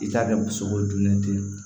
I k'a kɛ musoko jumɛn ten